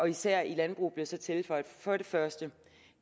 især i landbruget blev der så tilføjet for det første